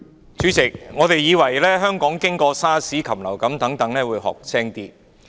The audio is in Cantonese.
主席，我們還以為香港經過 SARS 及禽流感後會學得精明點。